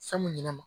Fɛn mun ɲinɛn ma